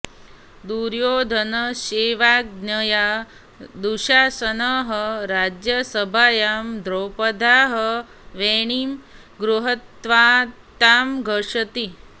दुर्योधनस्यैवाज्ञया दुःशासनः राज्यसभायां द्रौपद्याः वेणीं गृहीत्वा तां धर्षति